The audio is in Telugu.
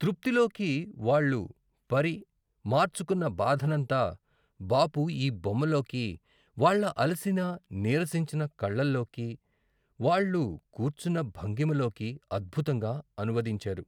తృప్తిలోకి వాళ్ళు పరి, మార్చుకున్న బాధనంతా బాపు ఈ బొమ్మలోకి వాళ్ళ అలసిన నీరసించిన కళ్ళలోకి, వాళ్ళు కూర్చున్న భంగిమలోకి, అద్భుతంగా అనువదించారు.